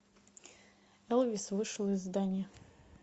элвис вышел из здания